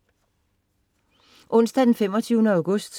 Onsdag den 25. august